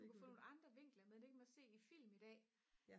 du kan få nogle andre vinkler med det kan man se i film i dag